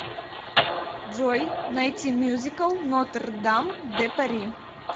джой найти мюзикл нотр дам де пари